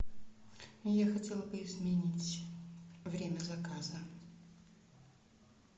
я хотела бы изменить время заказа